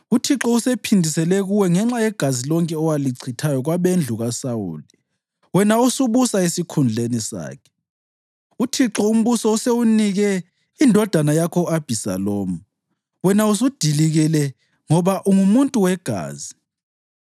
UThixo usephindisele kuwe ngenxa yegazi lonke owalichithayo kwabendlu kaSawuli, wena osubusa esikhundleni sakhe. UThixo umbuso usewunike indodana yakho u-Abhisalomu. Wena usudilikile ngoba ungumuntu wegazi!”